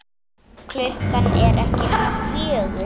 Klukkan er ekki nema fjögur.